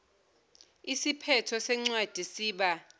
isiphetho sencwadi siba